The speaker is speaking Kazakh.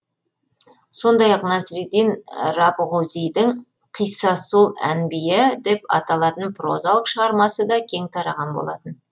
сондай ақ насреддин рабғузидің қиссасул әнбия деп аталатын прозалық шығармасы да кең тараған болатын